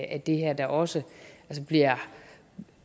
af det her der også